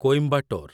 Coimbatore